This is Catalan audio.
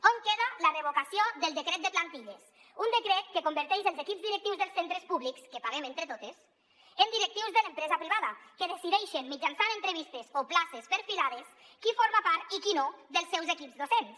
on queda la revocació del decret de plantilles un decret que converteix els equips directius dels centres públics que paguem entre totes en directius de l’empresa privada que decideixen mitjançant entrevistes o places per·filades qui forma part i qui no dels seus equips docents